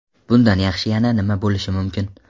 Bundan yaxshi yana nima bo‘lishi mumkin?